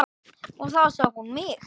Og þá sá hún mig.